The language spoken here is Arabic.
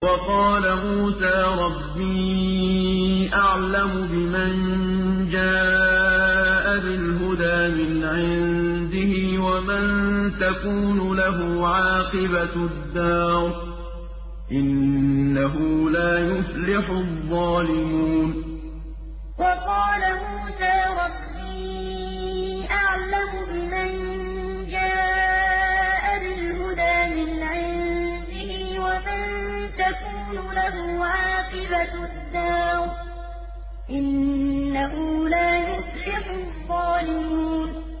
وَقَالَ مُوسَىٰ رَبِّي أَعْلَمُ بِمَن جَاءَ بِالْهُدَىٰ مِنْ عِندِهِ وَمَن تَكُونُ لَهُ عَاقِبَةُ الدَّارِ ۖ إِنَّهُ لَا يُفْلِحُ الظَّالِمُونَ وَقَالَ مُوسَىٰ رَبِّي أَعْلَمُ بِمَن جَاءَ بِالْهُدَىٰ مِنْ عِندِهِ وَمَن تَكُونُ لَهُ عَاقِبَةُ الدَّارِ ۖ إِنَّهُ لَا يُفْلِحُ الظَّالِمُونَ